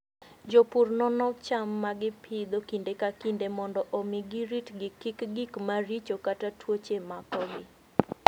Jopur nono cham ma gipidho kinde ka kinde mondo omi giritgi kik gik maricho kata tuoche makogi.